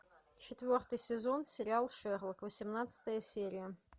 четвертый сезон сериал шерлок восемнадцатая серия